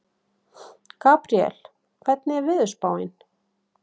Gabriel, hvernig er veðurspáin?